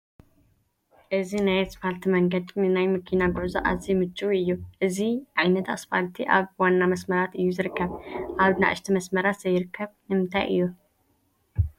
እዚ ናይ ኣስፋልቲ መንገዲ ንናይ መኪና ጉዕዞ ኣዝዩ ምቹው እዩ፡፡ እዚ ዓይነት ስፋልቲ ኣብ ዋና መስመራት እዩ ዝርከብ፡፡ ኣብ ናእሽቱ መስመራት ዘይርከብ ንምንታይ እዩ?